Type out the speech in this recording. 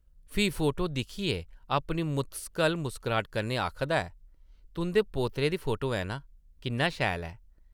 फ्ही फोटो दिक्खियै अपनी मुस्तकल मुस्कराह्ट कन्नै आखदा ऐ, ‘‘तुंʼदे पोतरे दी फोटो ऐ नां ? किन्ना शैल ऐ !’’